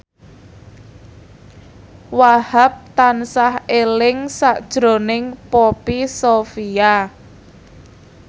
Wahhab tansah eling sakjroning Poppy Sovia